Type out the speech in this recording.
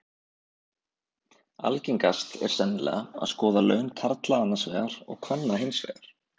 Algengast er sennilega að skoða laun karla annars vegar og kvenna hins vegar.